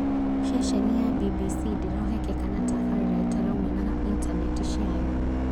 Ceceni ya BBC ndĩrehokeka na tabarĩra ĩtaraumana na intaneti ciayo